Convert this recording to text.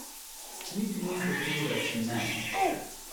Niti ni hotel reči ne.